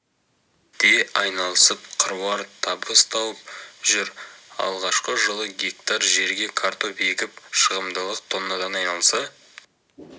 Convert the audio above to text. де айналысып қыруар табыс тауып жүр алғашқы жылы гектар жерге картоп егіп шығымдылық тоннадан айналса